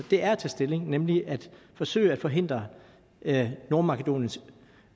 det er at tage stilling nemlig at forsøge at forhindre nordmakedoniens